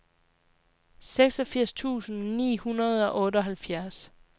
seksogfirs tusind ni hundrede og otteoghalvfjerds